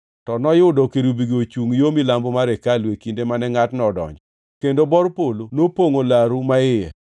To noyudo kerubigo ochungʼ yo milambo mar hekalu e kinde mane ngʼatno odonjo, kendo bor polo nopongʼo laru maiye.